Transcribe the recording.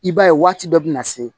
I b'a ye waati dɔ bɛ na se